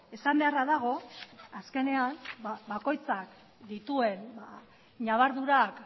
esan beharra dago azkenean bakoitzak dituen ñabardurak